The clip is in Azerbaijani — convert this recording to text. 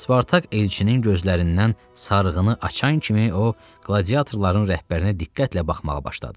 Spartak elçinin gözlərindən sarığını açan kimi o qladiatorların rəhbərinə diqqətlə baxmağa başladı.